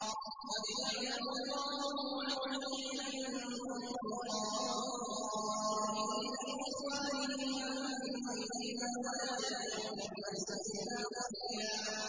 ۞ قَدْ يَعْلَمُ اللَّهُ الْمُعَوِّقِينَ مِنكُمْ وَالْقَائِلِينَ لِإِخْوَانِهِمْ هَلُمَّ إِلَيْنَا ۖ وَلَا يَأْتُونَ الْبَأْسَ إِلَّا قَلِيلًا